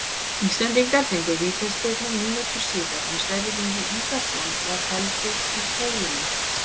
Íslendingar fengu vítaspyrnu mínútu síðar er Sverrir Ingi Ingason var felldur í teignum.